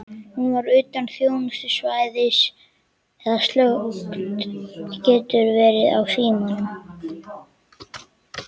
Hún var utan þjónustusvæðis eða slökkt getur verið á símanum.